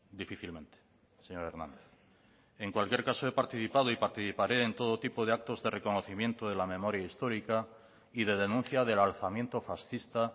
difícilmente señor hernández en cualquier caso he participado y participaré en todo tipo de actos de reconocimiento de la memoria histórica y de denuncia del alzamiento fascista